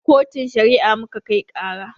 Kotun Shari'a muka kai ƙara.